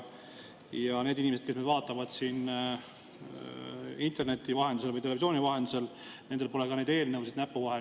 Ja nendel inimestel, kes vaatavad meid interneti vahendusel või televisiooni vahendusel, pole neid eelnõusidki näpu vahel.